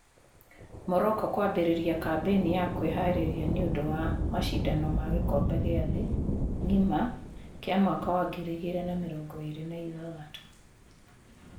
Morocco kwambĩriria kambeni ya kwĩharĩria ni ũndũ wa macindano ma gĩkombe gĩ a thĩ ng’ima kia mwaka wa ngiri igĩrĩ na mĩrongo ĩrĩ na ithathatũ.